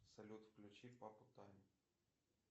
салют включи папу тайм